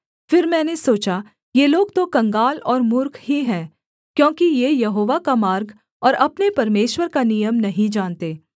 फिर मैंने सोचा ये लोग तो कंगाल और मूर्ख ही हैं क्योंकि ये यहोवा का मार्ग और अपने परमेश्वर का नियम नहीं जानते